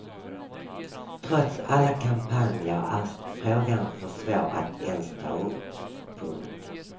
Trots alla kampanjer är frågan för svår att ens ta upp. punkt